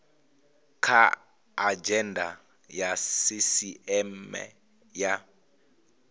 kha adzhenda ya sisieme ya